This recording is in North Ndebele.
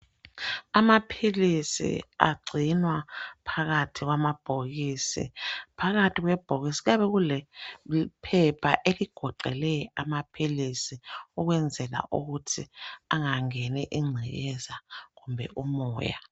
Amaphilisi agcinwa phakathi kwamabhokisi. Phakathi kwebhokisi kuyabe kulephepha eligoqele amaphilisi, ukwenzela ukuthi angangeni ingcekeza lkumbe umoya.